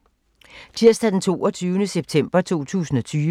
Tirsdag d. 22. september 2020